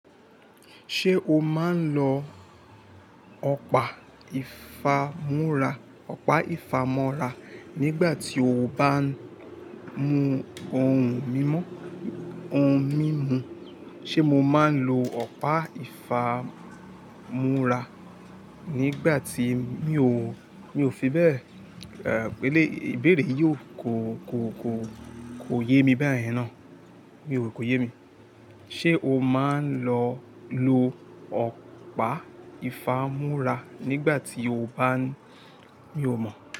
Ṣé o máa ń lọ ọ̀pá ìfámú́ra nígbà tí o bá ń mu ohun mímu? Ṣé mo máa ń lo ọ̀pá ìfámú́ra nígbà tí mi ò fi bẹ́ẹ̀? Ẹ̀ẹ́, ìbéèrè yìí kò yé mi bayẹ̀n náà. Mi ò rò pé kò yé mi. Ṣé o máa ń lo ọ̀pá ìfámú́ra nígbà tí o bá ń Mi ò mọ̀